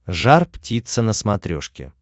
жар птица на смотрешке